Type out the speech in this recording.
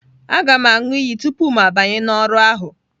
Aga m aṅụ iyi tupu mụ abanye n'ọrụ ahụ